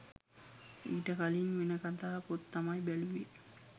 ඊට කලින් වෙන කතා පොත් තමයි බැලුවේ